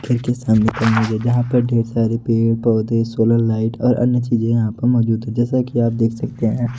जहां पर ढेर सारे पेड़ पौधे सोलर लाइट और अन्य चीजे यहां पर मौजूद है जैसा की आप देख सकते हैं।